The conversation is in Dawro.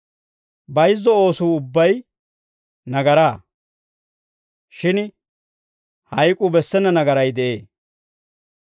Bayizzo oosuu ubbay nagaraa; shin hayk'uu bessena nagaray de'ee.